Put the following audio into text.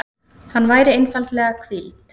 Hann væri einfaldlega hvíld.